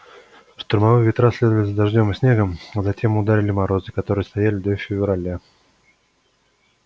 штормовые ветра следовали за дождём и снегом а затем ударили морозы которые стояли до февраля